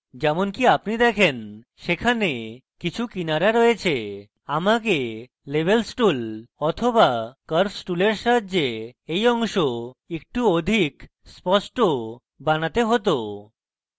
কিন্তু যেমনকি আপনি দেখেন সেখানে কিছু কিনারা রয়েছে এবং আমাকে levels tool but curves টুলের সাহায্যে এই অংশ একটু অধিক স্পষ্ট বানাতে হতো